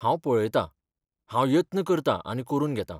हांव पळयतां, हांव यत्न करतां आनी करून घेतां.